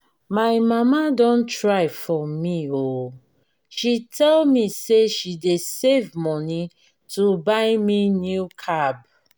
my mama don try for me oo she tell me say she dey save money to buy me new cab.